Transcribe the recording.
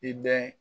I bɛ